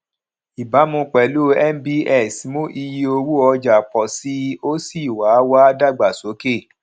ìbámu pẹlú nbs mú iye owó ọjà pọ sí i ó sì wá wá dàgbàsókè